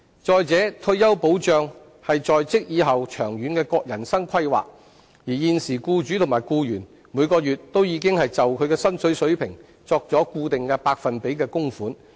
再者，退休保障是在職以後長遠的人生規劃，而現時僱主及僱員每月已經按他們的薪金水平作固定百分比的供款。